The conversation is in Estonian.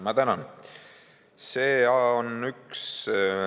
Ma tänan!